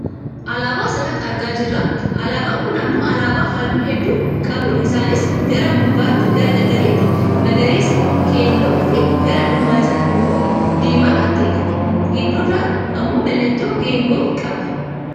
Alaabaa asirratti argaa jirra. Alaabaan kun ammoo alaabaa halluu hedduu qabudha isaanis gara gubbaatii gara gadiitti; magariisa, keelloo fi gara dhuma isaatti ammoo diimaa kan ta'e dha. Gidduurraa ammoo mallattoo geengoo qaba.